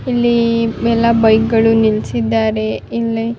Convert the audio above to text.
ಇಲ್ಲಿ ದೊಡ್ಡ ಕಂಬ ಇದೆ ಸೈಡ್ ನಲ್ಲಿ ಮರ ಕಾಣಿಸ್ತಾ ಇದೆ.